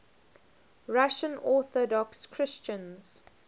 russian orthodox christians